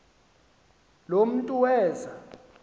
lo mntu weza